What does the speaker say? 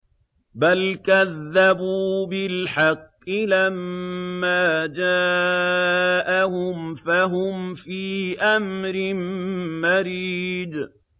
بَلْ كَذَّبُوا بِالْحَقِّ لَمَّا جَاءَهُمْ فَهُمْ فِي أَمْرٍ مَّرِيجٍ